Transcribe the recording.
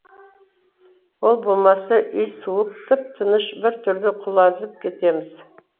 ол болмаса үй суық тып тыныш біртүрлі құлазып кетеміз